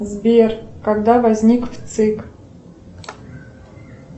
сбер когда возник вцик